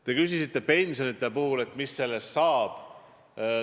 Te küsisite selle puhul, et mis pensionidest saab.